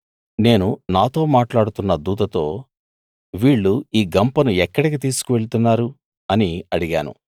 నేను నాతో మాట్లాడుతున్న దూతతో వీళ్ళు ఈ గంపను ఎక్కడికి తీసుకువెళ్తున్నారు అని అడిగాను